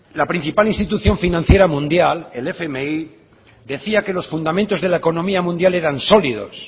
la principal institución financiera mundial el fmi decía que los fundamentos de la economía mundial eran sólidos